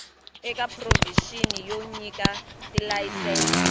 eka provixini yo nyika tilayisense